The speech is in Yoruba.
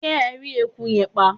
ṣé ẹ rí eku yẹn pa?